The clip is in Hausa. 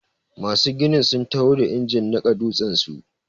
Masu gini sun taho da injin niƙa dutsen su.